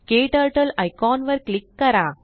KTurtleआयकॉन वर क्लीक करा